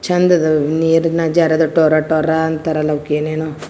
ಚಂದದ್ ನೀರಿನ ಜರ್ ಟೋರೊಟೊರೊ ಅಂತರಲ್ಲಾ ಅವುಕೆನೇನೋ .